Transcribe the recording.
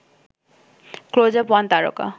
Closeup one তারকা